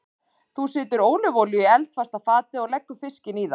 Þú setur ólífuolíu í eldfast fatið og leggur fiskinn í það.